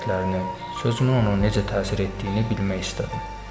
Hərəkətlərini, sözümün ona necə təsir etdiyini bilmək istədim.